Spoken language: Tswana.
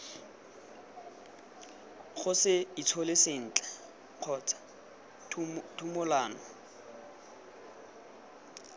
gose itshole sentle kgotsa thumolano